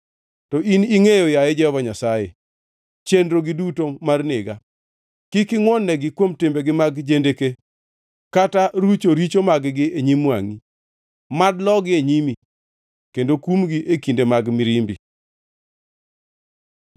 To in ingʼeyo, yaye Jehova Nyasaye, chenrogi duto mar nega. Kik ingʼwon-negi kuom timbegi mag jendeke, kata rucho richo mag-gi e nyim wangʼi. Mad logi e nyimi; kendo kumgi e kinde mag mirimbi.